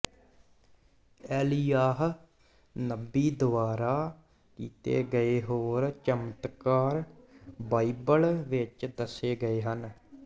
ਏਲੀਯਾਹ ਨਬੀ ਦੁਆਰਾ ਕੀਤੇ ਗਏ ਹੋਰ ਚਮਤਕਾਰ ਬਾਈਬਲ ਵਿਚ ਦੱਸੇ ਗਏ ਹਨ